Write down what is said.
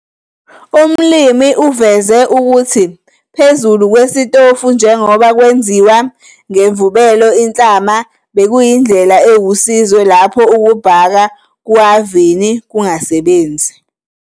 Umlimi uveze ukuthi phezulu "kwesitofu", njengoba kwenziwa ngemvubelo inhlama, bekuyindlela ewusizo lapho ukubhaka kuhhavini kungasebenzi.